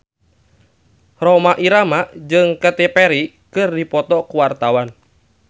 Rhoma Irama jeung Katy Perry keur dipoto ku wartawan